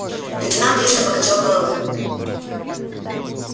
лейтенант резко покачал головой